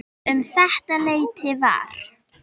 Um þetta leyti var